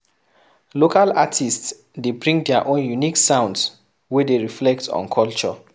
Local artists de bring their own unique sounds wey de reflect on culture